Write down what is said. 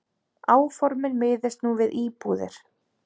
Áformin miðist nú við íbúðir.